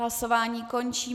Hlasování končím.